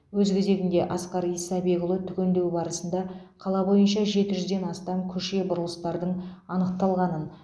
өз кезегінде асқар исабекұлы түгендеу барысында қала бойынша жеті жүзден астам көше бұрылыстардың анықталғанын